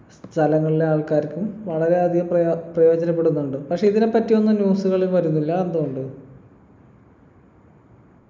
സ്ഥലങ്ങളിലെ ആൾക്കാർക്കും വളരെയധികം പ്രയ പ്രയോജനപ്പെടുന്നുണ്ട് പക്ഷെ ഇതിനെപ്പറ്റിയൊന്നും news കള് വരുന്നില്ല എന്തുകൊണ്ട്